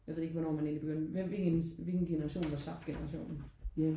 Jeg ved ikke hvornår man egentlig begyndte hvem var ens hvilken generation var subgenerationen?